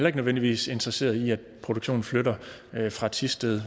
ikke nødvendigvis interesseret i at produktionen flytter fra thisted